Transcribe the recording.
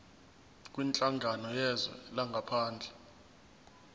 kwinhlangano yezwe langaphandle